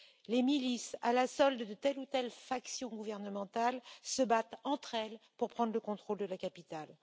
Les milices à la solde de telle ou telle faction gouvernementale se battent entre elles pour prendre le contrôle de la capitale.